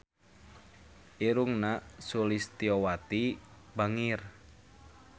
Irungna Sulistyowati bangir